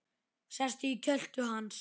Sest í kjöltu hans.